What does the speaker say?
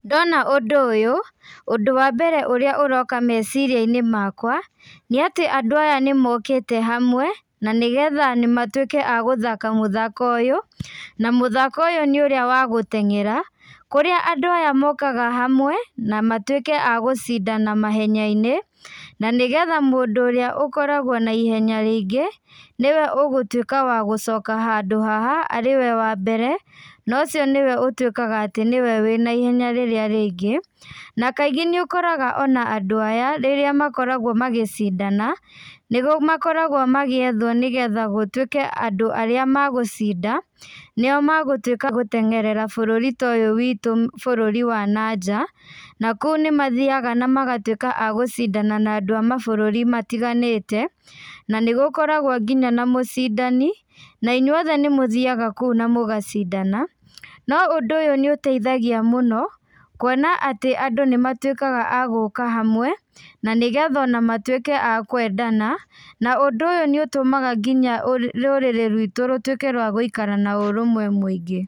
Ndona ũndũ ũyũ, ũndũ wambere ũrĩa ũroka meciria-inĩ makwa, nĩ atĩ andũ aya nĩmokĩte hamwe, na nĩgetha matuĩke agũthaka mũthako ũyũ, na mũthako ũyũ nĩ ũrĩ wa gũteng'era, kũrĩa andũ aya mokaga hamwe, na matuĩke agũcindana mahenya-inĩ, na nĩgetha mũndũ ũrĩa ũkoragwo na ihenya rĩingĩ, nĩwe ũgũtuĩka wagũcoka handũ haha arĩwe wambere, na ũcio nĩwe ũtuĩkaga atĩ nĩwe wĩna ihenya rĩrĩa rĩingĩ, na kaingĩ nĩũkoraga ona andũ aya, rĩrĩa makoragwo magĩcindana, nĩmakoragwo magĩethwo nĩgetha gũtuĩke andũ arĩa megũcinda, nĩo megũtuĩka agũteng'erera bũrũri ũyũ witũ bũrũri wa nanja, nakũu nĩmathiaga na magatuĩka agũcindana na andũ a mabũrũri matiganĩte, na nĩgũkoragwo nginya na mũcindani, na inyuothe nĩmũthiaga kũu na mũgacindana, no ũndũ ũyũ nĩũtaithagia mũno, kuona atĩ andũ nĩmatuĩkaga agũka hamwe, na nĩgetha matuĩke akwendana, na ũndũ ũyũ nĩũtũmaga nginya rũrĩrĩ ruitũ rũtuĩke rwa gũikara na ũrũmwe mũingĩ.